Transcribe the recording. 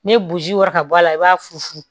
Ni ye boji wɔrɔ ka bɔ a la i b'a fu funfun